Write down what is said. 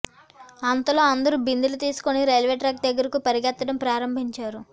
అంతలో అందరూ బిందెలు తీసుకుని రైల్వే ట్రాక్ దగ్గరకు పరుగెత్తడం ప్రారంభించారు